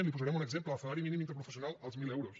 li’n posarem un exemple el salari mínim interprofessional als mil euros